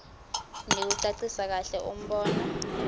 nekucacisa kahle umbono